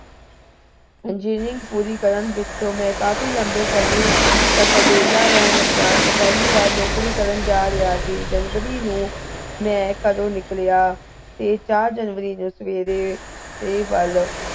engineering ਪੂਰੀ ਕਰਨ ਪਿੱਛੋਂ ਮੈਂ ਕਾਫੀ ਲੰਬੇ ਸਮੇਂ ਵਿਹਲਾ ਰਹਿਣ ਉਪਰੰਤ ਮੈਂ ਪਹਿਲੀ ਵਾਰੀ ਨੌਕਰੀ ਕਰਨ ਜਾ ਰਿਹਾ ਸੀ january ਨੂੰ ਮੈਂ ਘਰੋਂ ਨਿਕਲਿਆ ਤੇ ਚਾਰ january ਦੀ ਸਵੇਰ ਏ ਤੇ ਵਲ